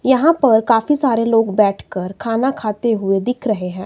यहां पर काफी सारे लोग बैठ कर खाना खाते हुए दिख रहे हैं।